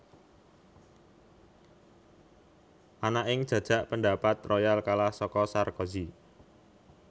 Ana ing jajak pendapat Royal kalah saka Sarkozy